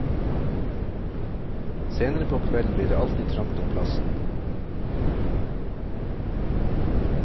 Senere på kvelden blir det alltid trangt om plassen.